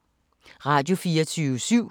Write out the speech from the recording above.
Radio24syv